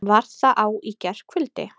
Var það á í gærkvöldi?